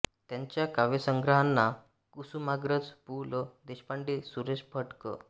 त्यांच्या काव्यसंग्रहांना कुसुमाग्रज पु ल देशपांडे सुरेश भट गं